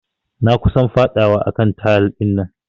Na kusan fadawa a kan tayal dinnan.